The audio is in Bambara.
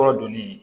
Kɔrɔ donni